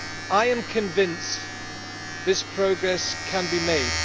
I am convinced this progress can be made.